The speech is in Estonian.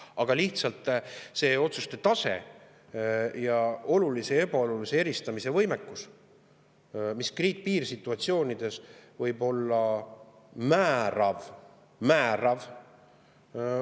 Aga lihtsalt see otsuste tase ning olulise ja ebaolulise eristamise võimekus, mis piirsituatsioonides võib olla määrav – määrav!